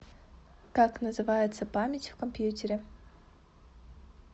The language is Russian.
как называется память в компьютере